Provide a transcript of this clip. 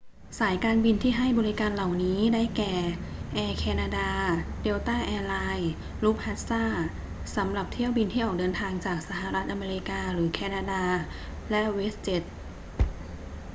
สายการบินที่ให้บริการเหล่านี้ ได้แก่ แอร์แคนาดา เดลต้าแอร์ไลน์ ลุฟต์ฮันซา สำหรับเที่ยวบินที่ออกเดินทางจากสหรัฐอเมริกาหรือแคนาดา และเวสต์เจ็ต